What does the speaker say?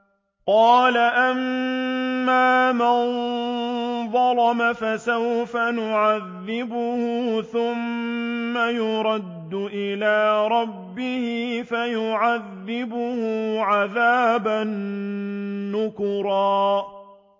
قَالَ أَمَّا مَن ظَلَمَ فَسَوْفَ نُعَذِّبُهُ ثُمَّ يُرَدُّ إِلَىٰ رَبِّهِ فَيُعَذِّبُهُ عَذَابًا نُّكْرًا